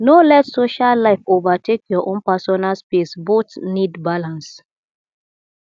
no let social life overtake your own personal space both need balance